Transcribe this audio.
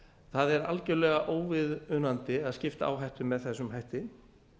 það er algerlega óviðunandi að skipta áhættu með þessum hætti